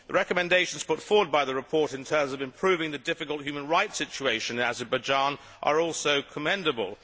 The recommendations put forward by the report in terms of improving the difficult human rights situation in Azerbaijan are also commendable.